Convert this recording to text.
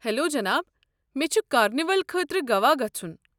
Hello جناب، مے٘ چھُ کارنیول خٲطرٕ گوٚوا گژھُن۔